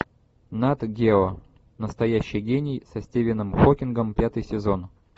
нат гео настоящий гений со стивеном хокингом пятый сезон